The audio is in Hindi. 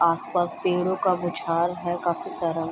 आसपास पेड़ों का गुच्छाल है काफी सारा।